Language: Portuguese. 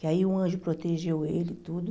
Que aí um anjo protegeu ele e tudo.